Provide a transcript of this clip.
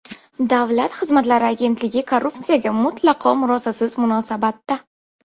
Davlat xizmatlari agentligi korrupsiyaga mutlaqo murosasiz munosabatda.